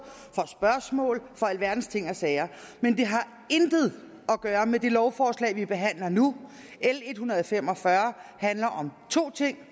for spørgsmål for alverdens ting og sager men det har intet at gøre med det lovforslag vi behandler nu l en hundrede og fem og fyrre handler om to ting